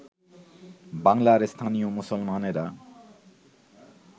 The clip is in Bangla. বাঙলার স্থানীয় মুসলমানেরা